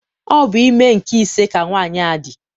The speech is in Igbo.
Ọ bụ ime nke ise ka nwaanyị a dị.